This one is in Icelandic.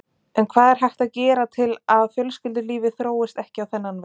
En hvað er hægt að gera til að fjölskyldulífið þróist ekki á þennan veg?